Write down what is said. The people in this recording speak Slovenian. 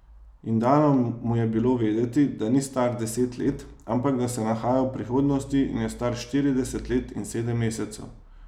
In dano mu je bilo vedeti, da ni star deset let, ampak da se nahaja v prihodnosti in je star štirideset let in sedem mesecev.